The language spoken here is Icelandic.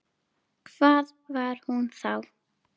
Hvað var hún þá?